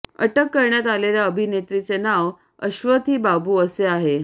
अटक करण्यात आलेल्या अभिनेत्रीचे नाव अश्वथी बाबू असे आहे